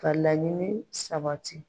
ka laɲini sabati.